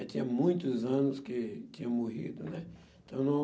Eu tinha muitos anos que tinha morrido, né? Então não,